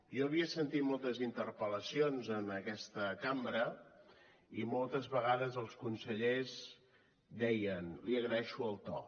jo havia sentit moltes interpel·lacions en aquesta cambra i moltes vegades els consellers deien li agraeixo el to